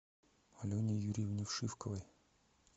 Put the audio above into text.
алене юрьевне вшивковой